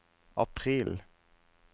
april